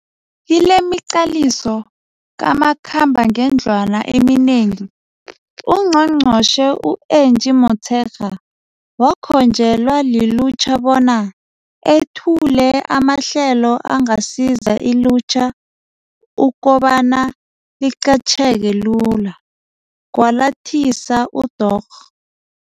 Kilemiqaliso kamakhambangendlwana eminengi, uNgqongqotjhe u-Angie Motshekga wakhonjelwa lilutjha bona ethule amahlelo angasiza ilutjha ukobana liqatjheke lula, kwalathisa uDorh.